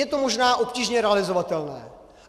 Je to možná obtížně realizovatelné.